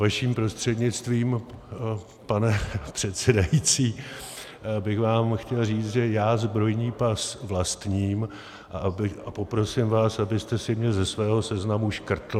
Vaším prostřednictvím, pane předsedající, bych vám chtěl říct, že já zbrojní pas vlastním, a poprosím vás, abyste si mě ze svého seznamu škrtl.